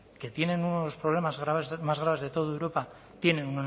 que tienen unos problemas más graves de toda europa tienen